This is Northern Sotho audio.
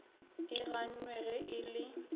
e gannwe ge e le